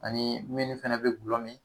Ani minnu fɛnɛ be gulɔ mi.